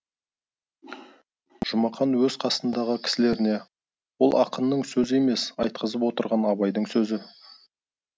жұмақан өз қасындағы кісілеріне ол ақынның сөзі емес айтқызып отырған абайдың сөзі